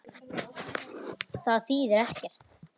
Það þýðir ekkert.